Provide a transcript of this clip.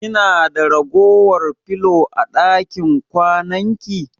Kina da ragowar filo a ɗakin kwananki?